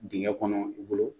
Dingɛ kɔnɔ i bolo